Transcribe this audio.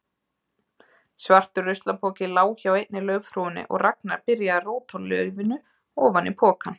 Svartur ruslapoki lá hjá einni laufhrúgunni og Ragnar byrjaði að róta laufinu ofan í pokann.